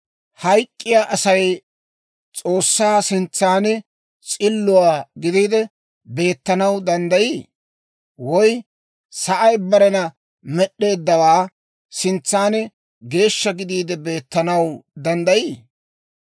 ‹Hayk'k'iyaa Asay S'oossaa sintsan s'illuwaa gidiide beettanaw danddayii? Woy Asay barena Med'd'eeddawaa sintsan geeshsha gidiide beettanaw danddayii?